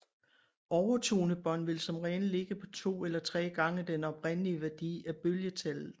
Overtone bånd vil som regel ligge på to eller tre gange den oprindelige værdi af bølgetallet